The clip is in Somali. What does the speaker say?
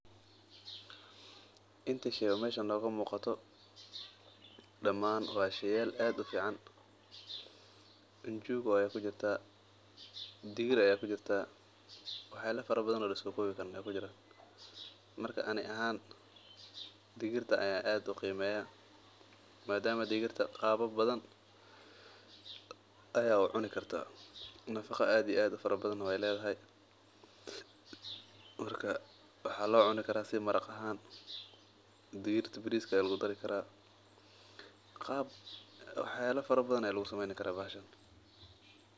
Intaa sheey o meshan noggaa muqaato daman waa sheyaal aad u fiican, njugu ayaa ku jirtaa, diigir ayaa kujirtaa, wax yala fara badan o laso kowi kariin ayaa kujiiran, marka ani ahan digiirta ayan aad u qimeyaa, maadama digiirta qabaal badan ayaa u cuni kartaa, nafaqa aad iyo aad u fara badana ayey ledahaa, marka waxaa locuni karaa maraaq ahan, digiirta biriska aya lagu dari karaa, wax yala fara badan aya lagu sameyni karaa bahashan.